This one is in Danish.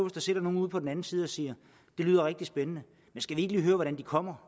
der sidder nogle ude på den anden side og siger det lyder rigtig spændende men skal vi ikke lige høre hvordan de kommer